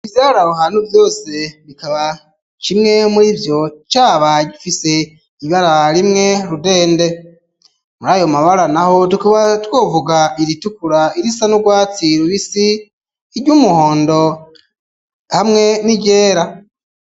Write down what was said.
Ivyari abuhanu vyose bikaba cimwe muri vyo caba gifise ibara rimwe rudende muri ayomabara na ho tkuba twovuga iritukura irisa n'urwatsirubisi iryo umuhondo hamwe n'irera.